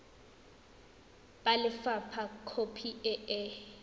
ba lefapha khopi e e